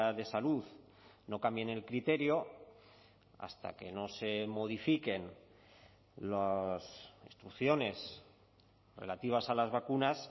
de salud no cambien el criterio hasta que no se modifiquen las instrucciones relativas a las vacunas